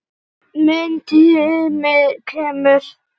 Minn tími kemur.